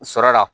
Sɔrɔ la